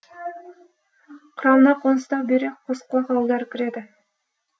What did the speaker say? құрамына қоныстау бүйрек қосқұлақ ауылдары кіреді